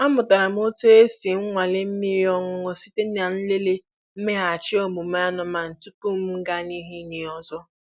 Amụtara m otú e si nwalee mmiri ọṅụṅụ site n'ịlele mmeghachi omume anụmanụ tupu m gaa n'ihu inye ha ọzọ.